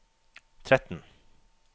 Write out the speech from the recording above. tretten